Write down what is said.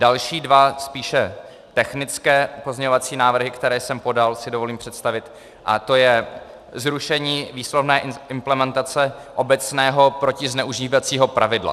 Další dva spíše technické pozměňovací návrhy, které jsem podal, si dovolím představit, a to je zrušení výslovné implementace obecného protizneužívacího pravidla.